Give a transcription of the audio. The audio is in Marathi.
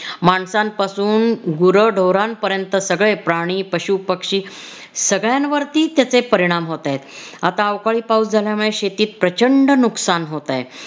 माणसांपासून, गुरढोरांपर्यंत सगळे प्राणी, पशुपक्षी सगळ्यांवरती त्याचे परिणाम होतायत. आता अवकाळी पाऊस झाल्यामुळे शेतीत प्रचंड नुकसान होतय.